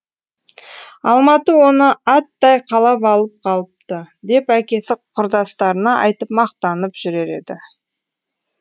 алматы оны аттай қалап алып қалыпты деп әкесі құрдастарына айтып мақтанып жүрер еді